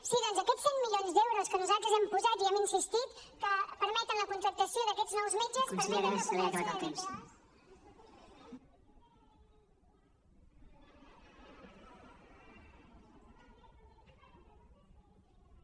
sí doncs aquest cent milions d’euros que nosaltres hem posat i hem insistit que permeten la contractació d’aquests nous metges permeten recuperació de dpo